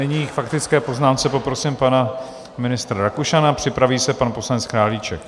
Nyní k faktické poznámce poprosím pana ministra Rakušana, připraví se pan poslanec Králíček.